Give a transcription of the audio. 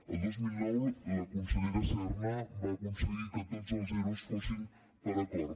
el dos mil nou la consellera serna va aconseguir que tots els ero fossin per acord